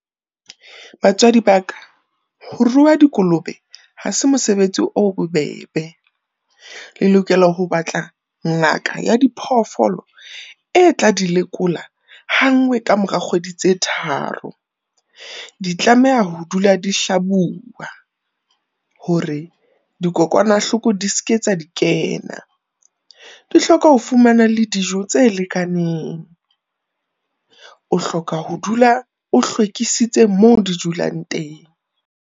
Batswadi ba ka, ho rua dikolobe ha se mosebetsi o bobebe. Le lokela ho batla ngaka ya diphoofolo e tla di lekola ha nngwe ka mora kgwedi tse tharo. Di tlameha ho dula di hlabua hore dikokwanahloko di se ke tsa di kena. Di hloka ho fumana le dijo tse lekaneng. O hloka ho dula o hlwekisitse mo di dulang teng.